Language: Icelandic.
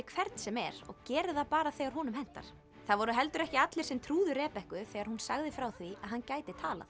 hvern sem er og gerir það bara þegar honum hentar það voru heldur ekki allir sem trúðu þegar hún sagði frá því að hann gæti talað